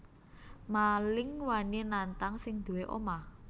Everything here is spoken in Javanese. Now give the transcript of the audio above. Maling wani nantang sing duwé omah